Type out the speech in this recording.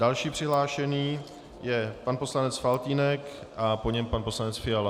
Další přihlášený je pan poslanec Faltýnek a po něm pan poslanec Fiala.